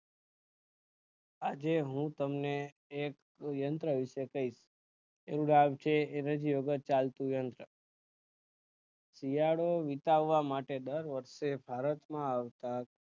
આજે હું તમને એક યંત્ર વિષે કઈશ તેનું નામ છે હિરણ્ય ઉપર ચાલતું યંત્ર શિયાળો વિતાવા માટે દર વર્ષે ભારત માં આવતા